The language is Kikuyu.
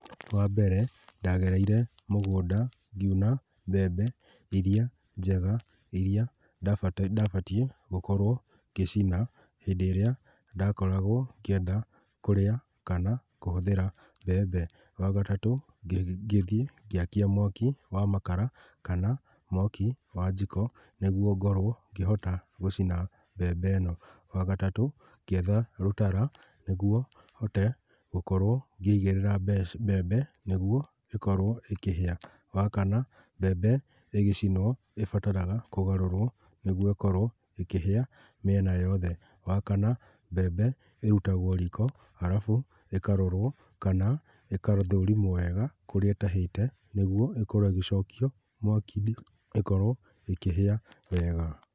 Wa mbere, ndagereire mũgũnda, ngiuna mbembe irĩa njega, irĩa ndabatie gũkorwo ngĩcina hĩndĩ ĩrĩa, ndakoragwo ngĩenda kũrĩa kana kũhũthĩra mbembe. Wa gatatũ, ngĩthiĩ ngĩakia mwaki wa makara kana mwaki wa njiko, nĩguo ngorwo ngĩhota gũcina mbembe ĩno. Wa gatatũ, ngĩetha rũtara, nĩguo hote gũkorwo ngĩigĩrĩra mbembe, nĩguo ĩkorwo ĩkĩhĩa. Wa kana, mbembe ĩgĩcinwo, ĩbataraga kũgarũrwo nĩguo ĩkorwo ĩkĩhĩa mĩena yothe. Wa kana, mbembe, ĩrutagwo riko, arabu ĩkarorwo kana ĩgathũrimwo wega kũrĩa ĩtahĩte, nĩguo ĩkorwo ĩgĩcokio mwaki-inĩ ĩkorwo ĩkĩhĩa wega.